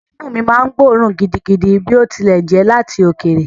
Imú mi máa ń gbóòórùn gidigidi bí ó tilẹ̀ jẹ́ láti òkèèrè.